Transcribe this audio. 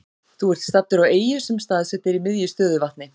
Þú ert staddur á eyju sem staðsett er í miðju stöðuvatni.